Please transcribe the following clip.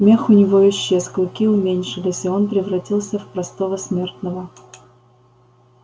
мех у него исчез клыки уменьшились и он превратился в простого смертного